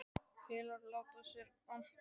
Félagarnir láta sér annt um Gerði.